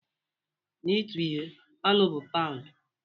Na ịtu ihe, "Ọnụ" bụ paụnd.